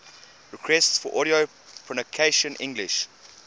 requests for audio pronunciation english